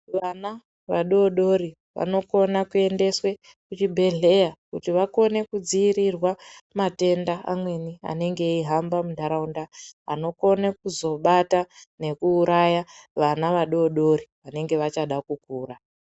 Vana vadodori vanokona kuyendeswe kuchibhedhleya kuti vakone kudziyirirwa matenda amweni anenge eyihamba munharaunda, anokone kuzobata nekuuraya vana vadodori vanenge vachada kukura.